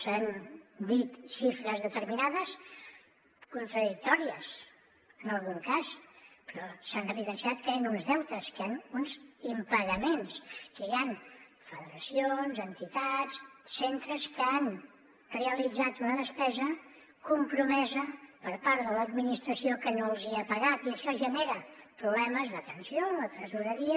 s’han dit xifres determinades contradictòries en algun cas però s’ha evidenciat que hi han uns deutes que hi han uns impagaments que hi han federacions entitats centres que han realitzat una despesa compromesa per part de l’administració que no els hi ha pagat i això genera problemes de tensió en la tresoreria